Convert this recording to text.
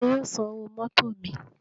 Tani yóò san owó mótò mi?